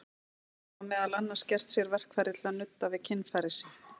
Þeir hafa meðal annars gert sér verkfæri til að nudda við kynfæri sín.